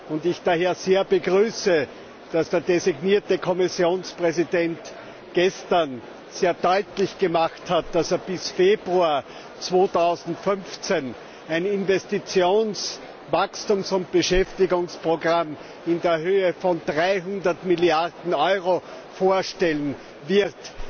und ich daher sehr begrüße, dass der designierte Kommissionspräsident gestern sehr deutlich gemacht hat, dass er bis Februar 2015 ein Investitions Wachstums und Beschäftigungsprogramm in Höhe von 300 Milliarden Euro vorstellen wird.